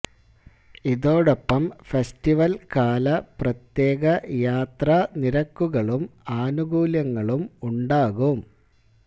ഇതോടൊപ്പം ഫെസ്റ്റിവൽ കാല പ്രത്യേക യാത്രാ നിരക്കുകളും ആനുകൂല്യങ്ങളും ഉണ്ടാകും